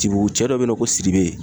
Tibugu, cɛ dɔ be yen nɔ ko siribe